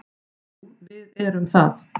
Jú, við erum það.